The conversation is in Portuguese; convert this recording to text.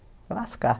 Pelas cartas